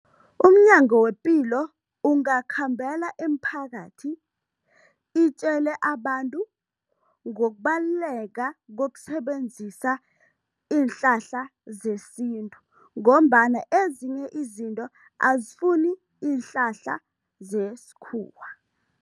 UmNyango wePilo ungakhambela emphakathi itjele abantu ngokubaluleka kokusebenzisa iinhlahla zesintu ngombana ezinye izinto azifuni iinhlahla zesikhuwa.